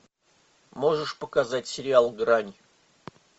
можешь показать сериал грань